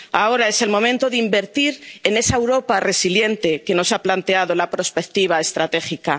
Ahora es el momento de invertir en esa Europa resiliente que nos ha planteado la prospectiva estratégica.